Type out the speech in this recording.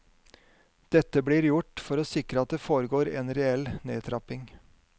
Dette blir gjort for å sikre at det foregår en reell nedtrapping.